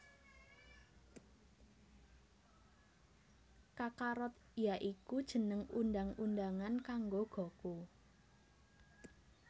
Kakarot ya iku jeneng undang undangan kanggo Goku